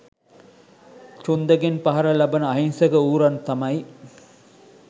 චුන්දගෙන් පහර ලබන අහිංසක ඌරන් තමයි.